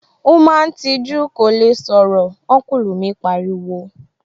Ó máa ń tijú, kò lè sọ̀rọ̀ púpọ̀, Ọ́nkùlù mi pariwo